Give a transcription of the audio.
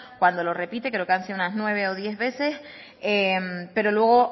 cuando lo repite creo que han sido nueve o diez veces pero luego